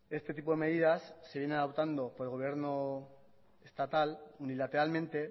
este tipo de medidas se viene adoptando por el gobierno estatal unilateralmente